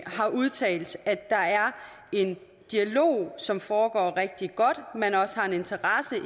har udtalt at der er en dialog som foregår rigtig godt at man også har en interesse i